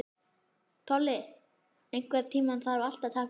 Tolli, einhvern tímann þarf allt að taka enda.